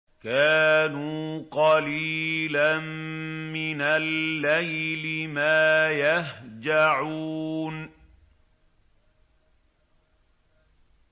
كَانُوا قَلِيلًا مِّنَ اللَّيْلِ مَا يَهْجَعُونَ